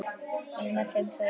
Mæli með þeim, segir Auður.